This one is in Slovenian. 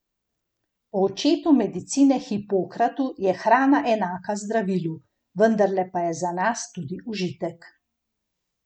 Po očetu medicine Hipokratu je hrana enaka zdravilu, vendarle pa je za nas tudi užitek.